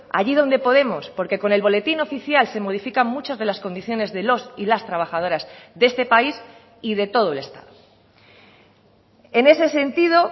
allí donde podemos porque con el boletín oficial se modifican muchas de las condiciones de los y las trabajadoras de este país y de todo el estado en ese sentido